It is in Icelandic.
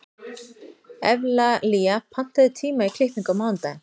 Evlalía, pantaðu tíma í klippingu á mánudaginn.